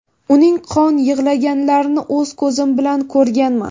Uning qon yig‘laganlarini o‘z ko‘zim bilan ko‘rganman.